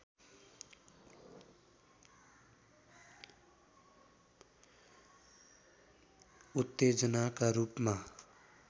उत्तेजनाका रूपमा